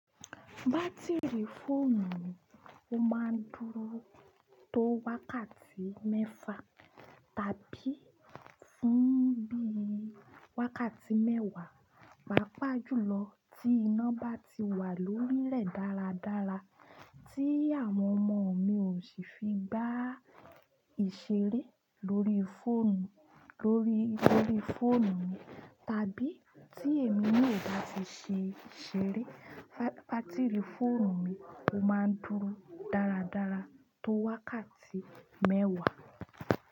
Bátìrì fóònù ó ma n dúró tó wákàtí mẹ́fa tàbí fún bí i wákàtí mẹ́wàá, pàápàá jùlọ tí iná bá ti wà lórí lè dáradára, tí àwọn ọmọ mi ò sì fi gbá ìṣeré lórí fóònù, lórí, lórí fóònù mi tàbí tí èmi naa ò bá ti fi ṣeré, bátìrì fóònù mi ó máa ń dúró dáradára tó wákàtí mẹ́wàá.